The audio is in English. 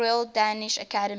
royal danish academy